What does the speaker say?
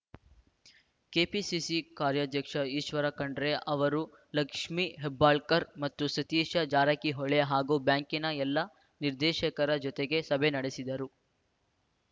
KPCC ಕಾರ್ಯಾಧ್ಯಕ್ಷ ಈಶ್ವರ ಖಂಡ್ರೆ ಅವರು ಲಕ್ಷ್ಮಿ ಹೆಬ್ಬಾಳ್ಕರ್‌ ಮತ್ತು ಸತೀಶ ಜಾರಕಿಹೊಳಿ ಹಾಗೂ ಬ್ಯಾಂಕಿನ ಎಲ್ಲ ನಿರ್ದೇಶಕರ ಜೊತೆಗೆ ಸಭೆ ನಡೆಸಿದರು